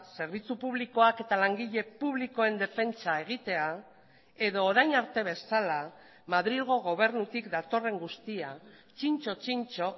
zerbitzu publikoak eta langile publikoen defentsa egitea edo orain arte bezala madrilgo gobernutik datorren guztia txintxo txintxo